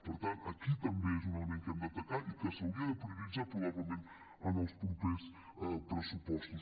per tant aquí també és un element que hem d’atacar i que s’hauria de prioritzar probablement en els propers pressupostos